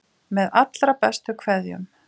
Með allra bestu kveðjum.